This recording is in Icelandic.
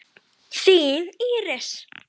Þín Íris.